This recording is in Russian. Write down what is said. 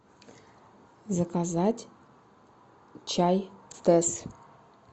заказать чай тесс